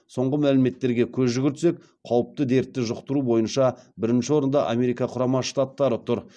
соңғы мәліметтерге көз жүгіртсек қауіпті дертті жұқтыру бойынша бірінші орында америка құрама штаттары тұр